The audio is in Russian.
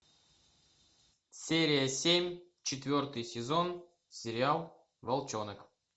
серия семь четвертый сезон сериал волчонок